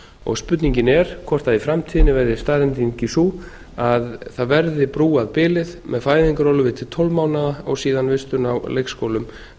og spurningin er hvort í framtíðinni verði staðreyndin sú að það verði brúað bilið með fæðingarorlofi til tólf mánaða og síðan vistun á leikskólum